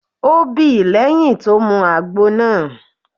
O bí lẹ́yìn tó mu àgbo náà.